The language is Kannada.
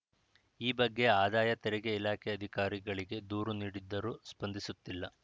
ಈ ಬಗ್ಗೆ ಆದಾಯ ತೆರಿಗೆ ಇಲಾಖೆ ಅಧಿಕಾರಿಗಳಿಗೆ ದೂರು ನೀಡಿದ್ದರೂ ಸ್ಪಂದಿಸುತ್ತಿಲ್ಲ